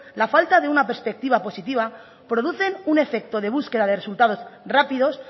la falta de una perspectiva positiva producen un efecto de búsqueda de resultados rápidos